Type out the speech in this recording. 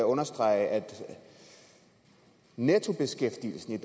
understrege at nettobeskæftigelsen